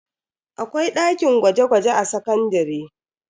Akwai dakin gwaje-gwaje a sakandare.